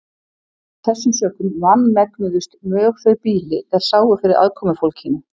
Af þessum sökum vanmegnuðust mjög þau býli er sáu fyrir aðkomufólkinu.